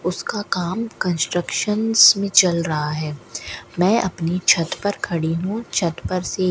उसका काम कंस्ट्रक्शन्स मे चल रहा है मैं अपनी छत पर खड़ी हूं छत पर से --